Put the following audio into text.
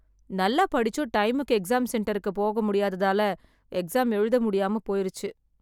நல்லா படிச்சும் டைமுக்கு எக்ஸாம் சென்டருக்கு போக முடியாததால் எக்ஸாம் எழுத முடியாம போயிருச்சு